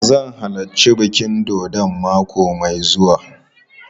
Zan halarci bikin dodon mako mai zuwa.